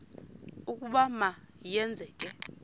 ukuba ma yenzeke